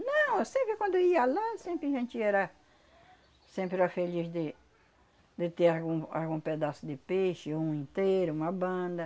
Não, eu sempre quando eu ia lá, sempre a gente era... sempre era feliz de... de ter algum algum pedaço de peixe, um inteiro, uma banda.